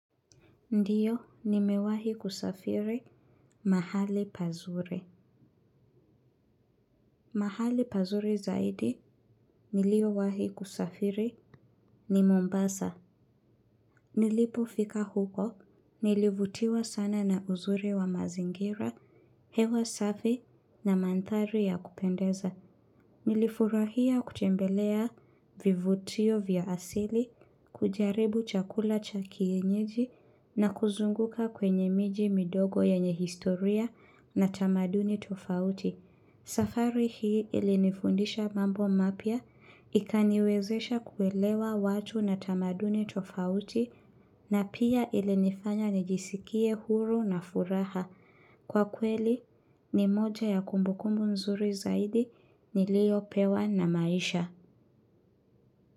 Ndio nimewahi kusafiri mahali pazuri. Mahali pazuri zaidi, nilio wahi kusafiri, ni Mombasa. Nilipo fika huko, nilivutiwa sana na uzuri wa mazingira, hewa safi na mandhari ya kupendeza. Nilifurahia kutembelea vivutio vya asili, kujaribu chakula cha kienyeji na kuzunguka kwenye miji midogo yenye historia na tamaduni tofauti. Safari hii ilinifundisha mambo mapya ikaniwezesha kuelewa watu na tamaduni tofauti na pia ilinifanya nijisikie huru na furaha. Kwa kweli, ni moja ya kumbukumbu nzuri zaidi niliyo, pewa na maisha.